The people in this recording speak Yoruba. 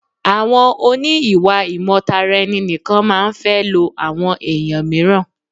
Àwọn oní ìwà ìmọ̀ tara ẹni nìkan máa ń fẹ́ lọ àwọn ẹ̀yàn míràn.